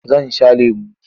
Zan sha lemo.